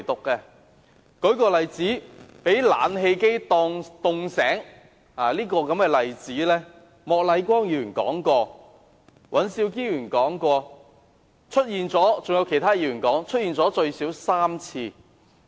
舉例，被冷氣冷醒的例子，莫乃光議員、尹兆堅議員和其他議員均曾提及，出現了最少3次。